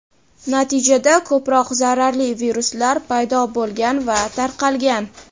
natijada ko‘proq zararli viruslar paydo bo‘lgan va tarqalgan.